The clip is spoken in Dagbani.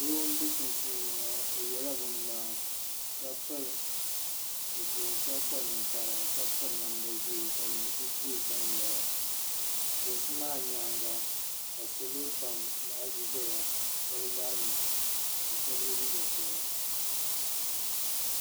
Doo n be sunsuuniŋɔ ɔ yela bin mŋaa, kapilizipiligu ka kpa nin kpara kapiri namda ʒɛɛ kalinsi be ɔ sani n ŋmera lunsi maa nyaaŋa, kasalɔ pam laɣinsi ʒaya. shebi larimi ka ye liiga piɛla.